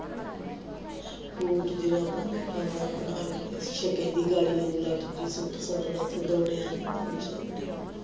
boot ਜ਼ਰਾਬਾਂ ਨੀ ਜਾਂਦਾ ਬੜਾ ਕਿਤੇ ਸੂਟ ਫੜਦਾ ਤੇ ਦੌੜਿਆ ਨੀ ਜਾਂਦਾ